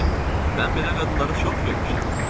Mən belə qadınları çox görmüşəm.